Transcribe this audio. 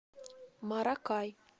маракай